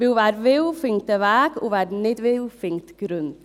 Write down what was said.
Denn: Wer will, findet einen Weg, und wer nicht will, findet Gründe.